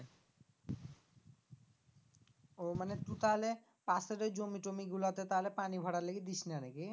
ও মানে তু তাহলে পাশের ওই জমি টমি গুলাতে তালে পানি ভরার লিগে দিস না নাকি?